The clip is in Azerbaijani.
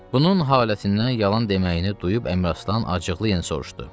Bunun haləsindən yalan deməyini duyub Əmraslan acıqlı yen soruşdu.